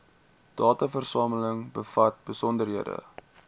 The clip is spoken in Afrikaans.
dataversameling bevat besonderhede